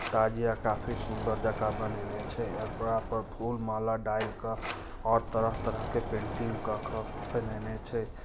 ताजिया काफी सुन्दर जगह बननिये छैएकरा पर फूल माला डाल के और तरह-तरह के पेटिंग क के बणीनिये छै।